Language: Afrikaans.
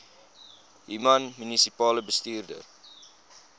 human munisipale bestuurder